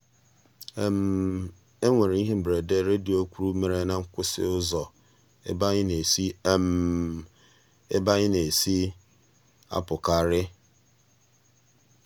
e nwere ihe mberede redio kwuru mere na nkwụsị ụzọ ebe anyị na-esi ebe anyị na-esi apụkarị.